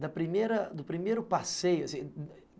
da primeira, do primeiro passeio assim